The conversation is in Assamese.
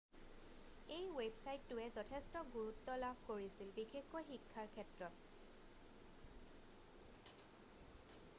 এই ৱেবছাইটটোৱে যথেষ্ট গুৰুত্ব লাভ কৰিছে বিশেষকৈ শিক্ষাৰ ক্ষেত্ৰত